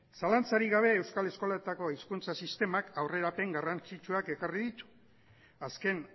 zalantzarik gabe euskal eskoletako hezkuntza sistemak aurrerapen garrantzitsuak ekarri ditu azken